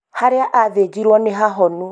harĩa athĩnjirũo nĩ hahonu